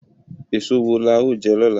Èso wo la ó jẹ lọ́la?